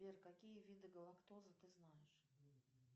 сбер какие виды галактоза ты знаешь